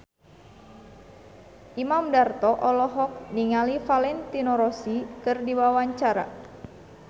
Imam Darto olohok ningali Valentino Rossi keur diwawancara